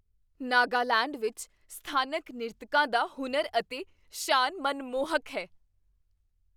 ਨਾਗਾਲੈਂਡ ਵਿੱਚ ਸਥਾਨਕ ਨ੍ਰਿਤਕਾਂ ਦਾ ਹੁਨਰ ਅਤੇ ਸ਼ਾਨ ਮਨਮੋਹਕ ਹੈ।